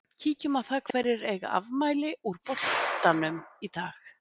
Kíkjum á það hverjir eiga afmæli úr boltanum í dag.